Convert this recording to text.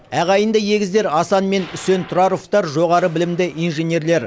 ағайынды егіздер асан мен үсен тұраровтар жоғары білімді инженерлер